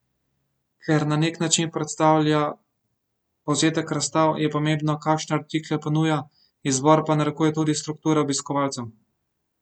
Ker na nek način predstavlja povzetek razstav, je pomembno, kakšne artikle ponuja, izbor pa narekuje tudi struktura obiskovalcev.